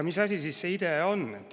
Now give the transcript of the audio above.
Mis asi see IDEA on?